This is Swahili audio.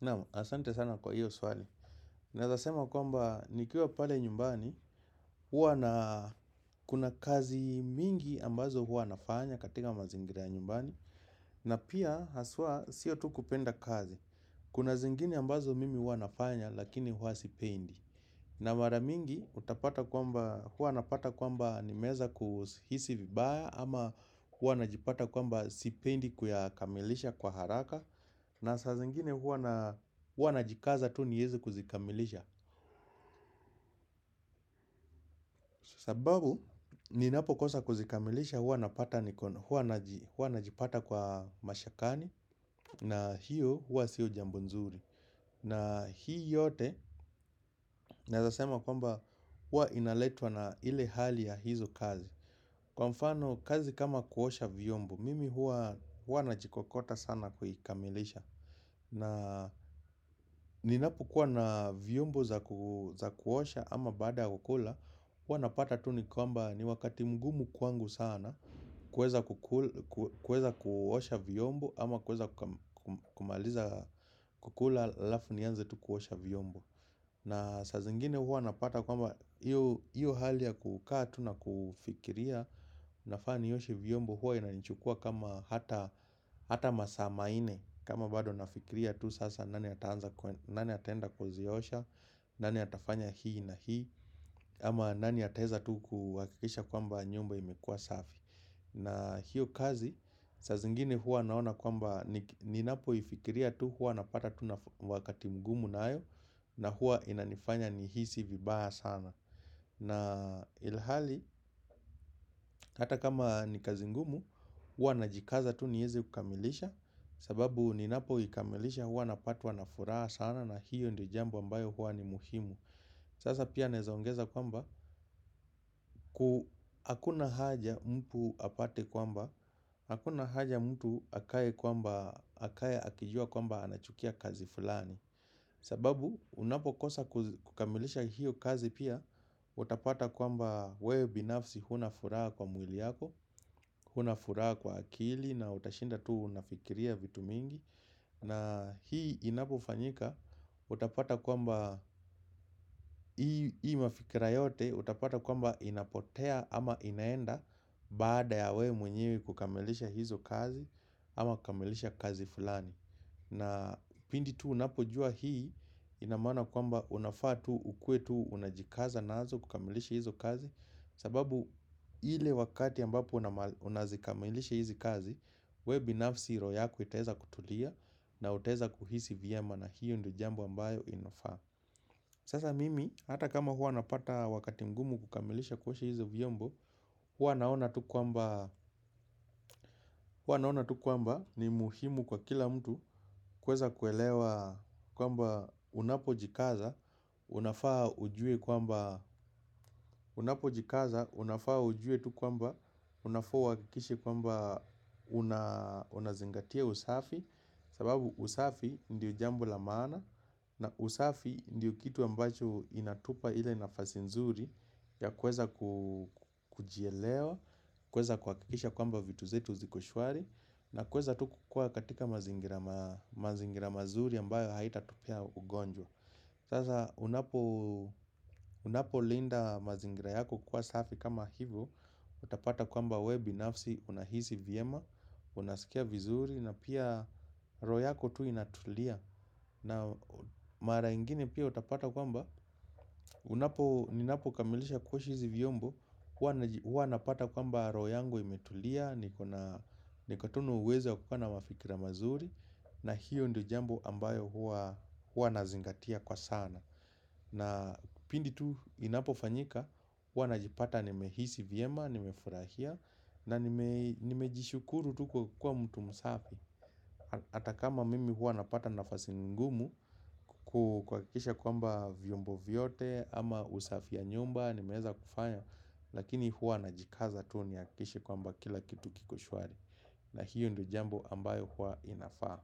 Naam, asante sana kwa hiyo swali. Naeza sema kwamba, nikiwa pale nyumbani, huwa na kuna kazi mingi ambazo huwa nafanya katika mazingira ya nyumbani, na pia haswa sio tu kupenda kazi. Kuna zingine ambazo mimi huwa nafanya, lakini huwa sipendi. Na mara mingi, huwa napata kwamba nimeweza kuhisi vibaya, ama huwa najipata kwamba sipendi kuyakamilisha kwa haraka, na saa zingine hua najikaza tu niweze kuzikamilisha. Sababu, ninapokosa kuzikamilisha hua najipata kwa mashakani. Na hiyo hua sio jambo nzuri. Na hii yote, naezasema kwamba hua inaletwa na ile hali ya hizo kazi. Kwa mfano, kazi kama kuosha vyombo, mimi hua najikokota sana kuikamilisha. Na ninapokuwa na vyombo za kuosha ama baada ya kukula huwa napata tu ni kwamba ni wakati mgumu kwangu sana kuweza kuweza kuosha vyombo ama kuweza kumaliza kukula alafu nianze tu kuosha vyombo. Na saa zingine huwa napata kwamba iyo hali ya kukaa tu na kufikiria nafaa nioshe vyombo hua inanichukua kama hata masa manne kama bado nafikiria tu sasa nani ataenda kuziosha nani atafanya hii na hii ama nani ataeza tu kuhakisha kwamba nyumba imekua safi na hyo kazi saa zingine huwa naona kwamba ninapoifkiria tu huwa napata tu wakati mgumu nayo na huwa inanifanya nihisi vibaya sana. Na ilhali, hata kama ni kazi ngumu, hua najikaza tu nieze kukamilisha. Sababu ninapo ikamilisha hua napatwa na furaha sana na hiyo ndo jambo ambayo hua ni muhimu. Sasa pia naezaongeza kwamba, hakuna haja mtu apate kwamba hakuna haja mtu akae kwamba, akae akijua kwamba anachukia kazi fulani. Sababu unapokosa kukamilisha hiyo kazi pia. Utapata kwamba wewe binafsi huna furaha kwa mwili yako huna furaha kwa akili na utashinda tu unafkiria vitu mingi na hii inapofanyika utapata kwamba hii mafikira yote utapata kwamba inapotea. Baada ya we mwenye kukamilisha hizo kazi ama kukamilisha kazi fulani na pindi tu unapojua hii ina maana kwamba unafaa tu ukuwe tu unajikaza nazo kukamilisha hizo kazi. Sababu ile wakati ambapo unazikamilisha hizi kazi we binafsi roho yako itaeza kutulia na utaweza kuhisi vyema na hiyo ndo jambo ambayo inafaa. Sasa mimi hata kama hua napata wakati mgumu kukamilisha kuosha hizo vyombo huwa naona tu kwamba ni muhimu kwa kila mtu kuweza kuelewa kwamba unapojikaza unafaa ujue kwamba unapojikaza unafaa ujue tu kwamba unafaa uhakikishe kwamba unazingatia usafi. Sababu usafi ndio jambo la maana. Na usafi ndio kitu ambacho inatupa ila nafasi nzuri ya kuweza kujielewa, kuweza kuhakikisha kwamba vitu zetu ziko shwari. Na kuweza tu kukua katika mazingira mazuri ambayo haitatupea ugonjwa. Sasa unapolinda mazingira yako kuwa safi kama hivo. Utapata kwamba we binafsi unahisi vyema. Unasikia vizuri na pia roho yako tu inatulia. Na mara ingine pia utapata kwamba unapo, ninapo kamilisha kuosha hizi vyombo, hua napata kwamba roho yangu imetulia, niko tu na uwezo ya kukaa na mafikira mazuri, na hiyo ndo jambo ambayo hua nazingatia kwa sana. Na pindi tu inapofanyika, hua najipata nimehisi vyema, nimefurahia, na nimejishukuru tu kwa kwa mtu msafi hata kama mimi hua napata nafasi ngumu kuhakikisha kwamba vyombo vyote, ama usafia ya nyumba, nimeweza kufanya. Lakini hua najikaza tu nihakikishe kwamba kila kitu kiko shwari. Na hiyo ndo jambo ambayo hua inafaa.